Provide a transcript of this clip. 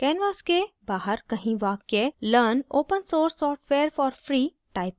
canvas के बाहर कहीं वाक्य learn open source software for free type करें